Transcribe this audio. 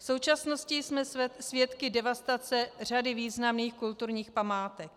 V současnosti jsme svědky devastace řady významných kulturních památek.